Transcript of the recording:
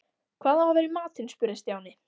Hvað á að vera í matinn? spurði Stjáni.